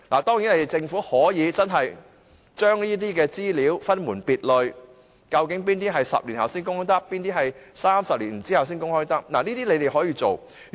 當然，政府可以將這些資料分門別類，究竟哪些是10年後才可公開，哪些是30年後才可公開，這都是他們可以處理的。